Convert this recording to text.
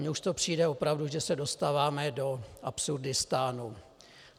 Mně už to přijde opravdu, že se dostáváme do Absurdistánu.